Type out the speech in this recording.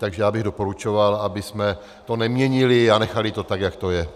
Takže já bych doporučoval, abychom to neměnili a nechali to tak, jak to je.